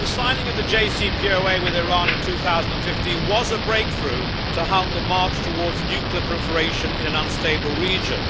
Mr President, the signing of the JCPOA with Iran in 2015 was a breakthrough to halt the march towards nuclear proliferation in an unstable region.